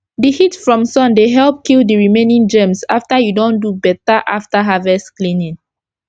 d heat from sun dey help kill d remaining germs after u don do beta after harvest cleaning